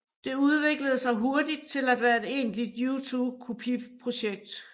Det udviklede sig hurtigt til at være et egentligt U2 kopiprojekt